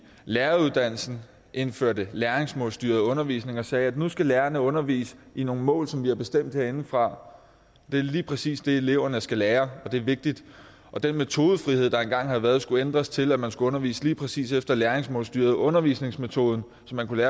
læreruddannelsen indførte læringsmålstyret undervisning og sagde at nu skulle lærerne undervise i nogle mål som vi bestemte herindefra det er lige præcis det eleverne skal lære og det er vigtigt og den metodefrihed der engang havde været skulle ændres til at man skulle undervise lige præcis efter læringsmålstyret undervisningsmetoden så man kunne